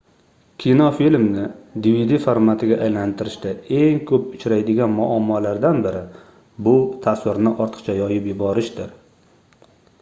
kinofilmni dvd formatiga aylantirishda eng koʻp uchraydigan muammolardan biri bu tasvirni ortiqcha yoyib yuborishdir